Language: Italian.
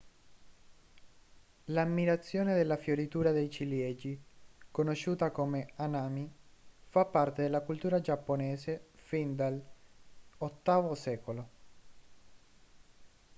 l'ammirazione della fioritura dei ciliegi conosciuta come hanami fa parte della cultura giapponese fin dall'viii secolo